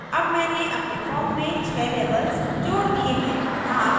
अब मैंने अपने form में 6 labels जोड़ दिये हैं